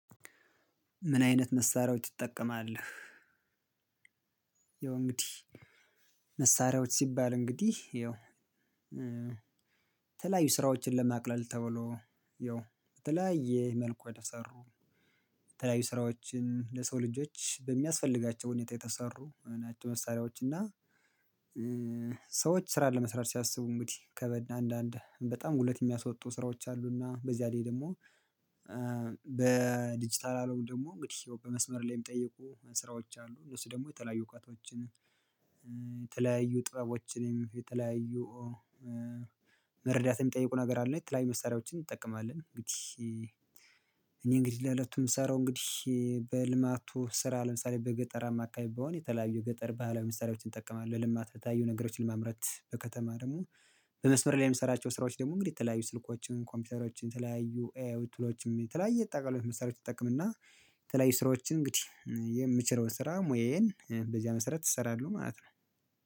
ምን አይነት መሳሪያዎች ትጠቀማለህ? ያው እንግዲህ መሳሪያዎች ሲባል እንግዲህ ያው የተለያዩ ስራዎችን ለማቅለል ተብሎ ያው በተለያየ መልኩ የተሰሩ የተለያዩ ስራዎችን ለሰው ልጆች በሚያስፈልጋቸው ሁኔታ የተሰሩ መሳሪያዎች እና ሰዎች ስራ ለመስራት ሲያስቡ እንግዲህ ከበድ አንዳንድ በጣም ጉልበት የሚያስወጡ ስራዎች አሉና በዚያ ላይ ደግሞ በዲጂታል አለም ደግሞ እንግዲህ በመስመር ላይ የሚጠየቁ ስራዎች አሉ። እነሱ ደግሞ የተለያዩ እውቀቶችን፣ የተለያዩ ጥበቦችንም፣ የተለያዩ መረዳት የሚጠይቁ ነገር አለ። የተለያዩ መሳሪያዎችን እንጠቀማለን። እንግዲህ እኔ እንግዲህ ለለቱ ምሰራው እንግዲህ በልማቱ ስራ ለምሳሌ በገጠር አማካኝ ብሆን የተለያዩ የገጠር ባህላዊ መሳሪያዎችን እጠቀማለሁ። ለልማት የተለያዩ ነገሮችን ለማምረት በከተማ ደግሞ በመስመር ላይ የምሰራቸው ስራዎች ደግሞ እንግዲህ የተለያዩ ስልኮችን፣ ኮምፒውተሮችን፣ የተለያዩ ኤአይ ቱሎችን ተለያየ ጠቅላይ መሳሪያዎች እጠቅምና የተለያዩ ስራዎችን እንግዲህ የምችለውን ስራ ሙያዬን በዚያ መሰረት እሰራለሁ ማለት ነው።